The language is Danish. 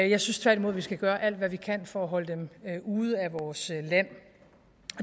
jeg synes tværtimod vi så gøre alt hvad vi kan for at holde dem ude af vores land